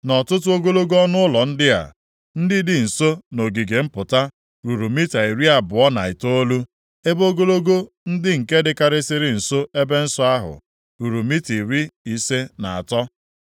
Nʼọtụtụ ogologo ọnụụlọ ndị a, ndị dị nso nʼogige mpụta, ruru mita iri abụọ na itoolu, ebe ogologo ndị nke dịkarịsịrị nso ebe nsọ ahụ, ruru mita iri ise na asatọ.